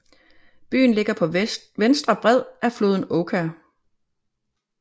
Byen ligger på venstre bred af floden Oka